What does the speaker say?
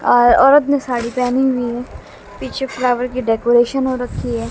और औरत ने साड़ी पहनी हुई है पीछे फ्लावर की डेकोरेशन हो रखी है।